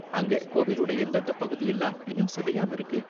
அங்க கோவிலோட எந்தெந்த பகுதியெல்லாம் இன்னும் சிதையாம இருக்கு?